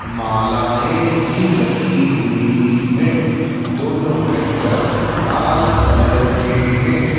मालाएं भी लगी हुई हैं दोनों ट्रैक्टर लाल कलर के हैं।